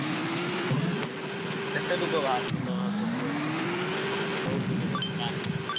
ହୁଁ ହୁଁ କେତେ ଲୋକ ବାହାରିଛନ୍ତି ତମ ସେପଟରୁ ଅଛନ୍ତି ସବୁ ମାନେ ବହୁତ ଲୋକ ବୋଧେ ଗାଁ ଲୋକ ପୁରା?